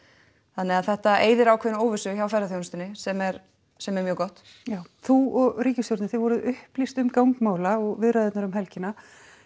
þannig að þetta eyðir ákveðinni óvissu hjá ferðaþjónustunni sem er sem er mjög gott já þú og ríkisstjórnin þið voruð upplýst um gang mála og viðræðurnar um helgina